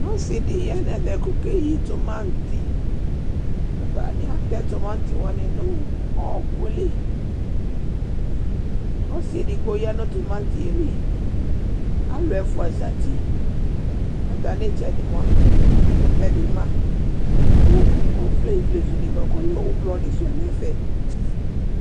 Osi di ya nu ɛvɛ ku ɔkeyi tɔmati Atani atɛ tɔmati wani nu ɔwɔkuli Ɔsi edigbo ya nu tɔmati yɛ li Alu ɛfua za uti Atana ma Ɛkutɛ di ma Ku ɔvlɛ ivlezu di bua ku ɔlɛ ublɔ di su yɛ du ɛfɛ